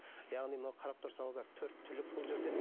яғни мынау қарап тұрсаңыздар төрт түлік бұл жерде